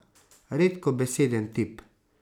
Redkobeseden tip.